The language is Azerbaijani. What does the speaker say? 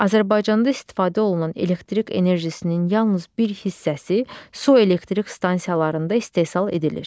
Azərbaycanda istifadə olunan elektrik enerjisinin yalnız bir hissəsi su elektrik stansiyalarında istehsal edilir.